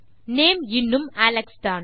name இன்னும் Alex தான்